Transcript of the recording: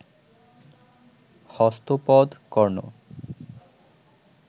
হস্ত পদ, কর্ণ